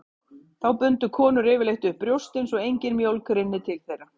Þá bundu konur yfirleitt upp brjóstin svo engin mjólk rynni til þeirra.